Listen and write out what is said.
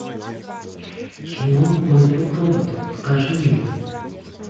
кино мой друг робот покажи мне